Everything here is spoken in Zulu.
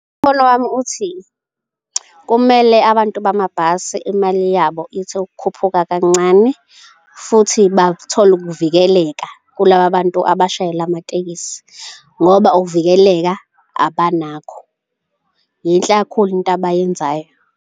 Umbono wami uthi, kumele abantu bamabhasi imali yabo ithi ukukhuphuka kancane futhi bathole ukuvikeleka kulaba bantu abashayela amatekisi ngoba ukuvikeleka abanakho. Yinhle kakhulu into abayenzayo.